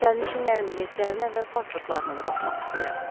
Sərnişinlərin biletlərinə və pasportlarına da baxmaq istəyirəm.